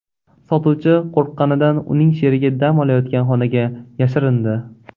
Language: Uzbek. Sotuvchi qo‘rqqanidan uning sherigi dam olayotgan xonaga yashirindi.